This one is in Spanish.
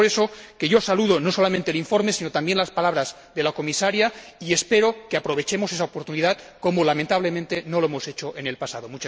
Es por eso que yo saludo no solamente el informe, sino también las palabras de la Comisaria, y espero que aprovechemos esa oportunidad, lo que, lamentablemente, no hemos hecho en el pasado.